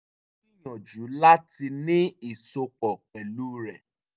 ó gbìyànjú láti ní ìsopọ̀ pẹ̀lú rẹ̀